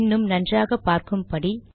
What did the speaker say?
இன்னும் நன்றாக பார்க்கும்படி